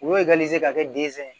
U b'o ka kɛ densɛn ye